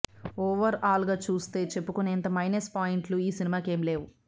over all గా చూస్తే చెప్పుకునేంత మైనస్ పాయింట్ లు ఈ సినిమాకు ఏమి లేవు